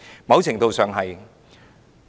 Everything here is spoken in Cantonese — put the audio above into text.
某程度上是有的。